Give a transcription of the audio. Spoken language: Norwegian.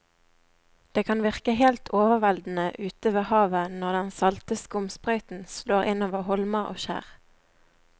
Det kan virke helt overveldende ute ved havet når den salte skumsprøyten slår innover holmer og skjær.